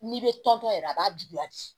N'i bɛ tɔntɔn yɛrɛ a b'a juguya de